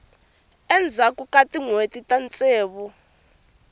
endzhaku ka tinhweti ta ntsevu